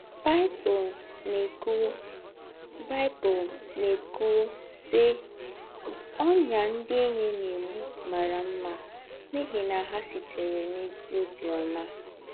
Báịbụ̀l na-ékùwú, Báịbụ̀l na-ékùwú, sị́: “Ọ́nyá ndị̀ ényí na-ègbú m̀árà mmà, n’íhí na hà sìtèrè n’ézí óbì ọ́mà